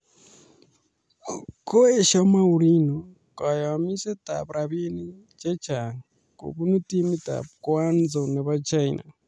Koesio Mourinho kayomisetab rabiinik che chang' kobun timitab Guangzhou nebo China